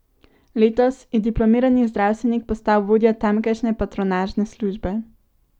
Letos je diplomirani zdravstvenik postal vodja tamkajšnje patronažne službe.